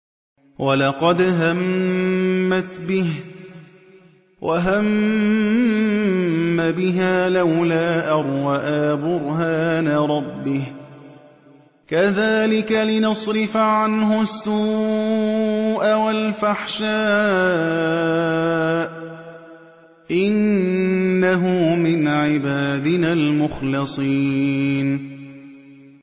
وَلَقَدْ هَمَّتْ بِهِ ۖ وَهَمَّ بِهَا لَوْلَا أَن رَّأَىٰ بُرْهَانَ رَبِّهِ ۚ كَذَٰلِكَ لِنَصْرِفَ عَنْهُ السُّوءَ وَالْفَحْشَاءَ ۚ إِنَّهُ مِنْ عِبَادِنَا الْمُخْلَصِينَ